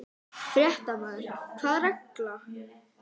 Fréttamaður: Hvaða regla?